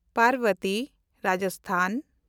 Parbati (Rajasthan)